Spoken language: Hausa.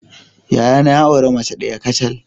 Yayana ya auren mace daya kacal.